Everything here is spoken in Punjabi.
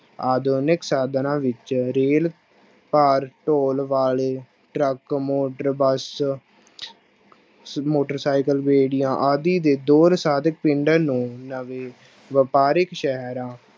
ਆਧੁਨਿਕ ਸਾਧਨਾਂ ਵਿੱਚ ਰੇਲ ਭਾਰ ਢੌਣ ਵਾਲੇ truck motor bus motor cycle, ਰੇਹੜੀਆਂ ਆਦਿ ਦੇ ਦੌਰ ਪਿੰਡ ਨੂੰ ਨਵੇਂ ਵਾਪਾਰਿਕ ਸ਼ਹਿਰਾਂ